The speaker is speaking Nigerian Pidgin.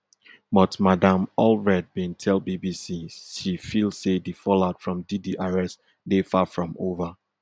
but madam allred bin tell tell bbc she feel say di fallout from diddy arrest dey far from ova